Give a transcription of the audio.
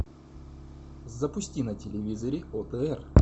запусти на телевизоре отр